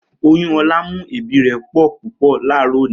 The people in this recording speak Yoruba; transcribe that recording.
Oyun Ola n mu eebi re po pupo laaro oni.